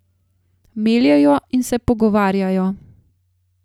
Meljejo in se pogovarjajo.